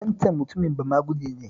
Waccan mutumin bamaguje ne